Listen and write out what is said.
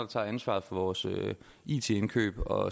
tager ansvaret for vores it indkøb og